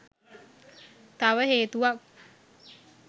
තව හේතුවක්.